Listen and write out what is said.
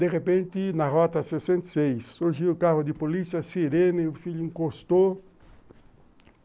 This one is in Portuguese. De repente, na rota sessenta e seis, surgiu o carro de polícia, sirene, o filho encostou.